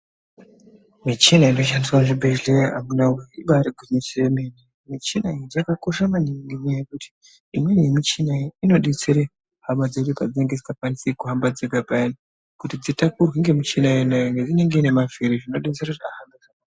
Michina inoshandiswa muzvibhehlera amunawee ibaari gwinyiso yemene. Michina iyi yakakosha maningi ngenyaya yekuti imweni yemichina iyi inodetsere hama dzedu padzinenge dzisikakwanisi kuhamba dzega payani kuti dzitakurwe ngemichina iyona iyoyo ngekuti inenge iine mavhiri zvinodetsere kuti...